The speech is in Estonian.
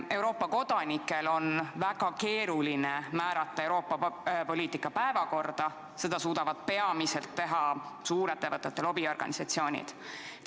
Euroopa Liidu kodanikel on väga keeruline mõjutada Euroopa Liidu poliitika n-ö päevakorda, seda suudavad teha peamiselt suurettevõtete lobiorganisatsioonid.